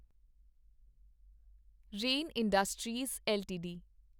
rain industries LTD